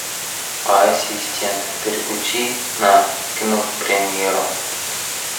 ассистент переключи на кинопремьеру